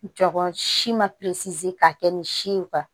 Jɔ si ma k'a kɛ ni si ye